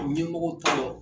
Ɲɛmɔgɔw t'a lɔ.